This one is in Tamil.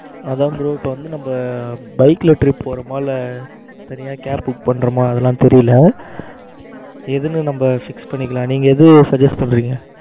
அதான் bro இப்ப வந்து நம்ம bike ல trip போறோமா? இல்ல car book பண்றமா அதெல்லாம் தெரியல எதுன்னு நம்ம fix பண்ணிக்கலாம். எது Suggest பண்றீங்க.